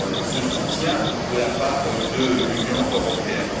ce soutien de la part de l'Union européenne?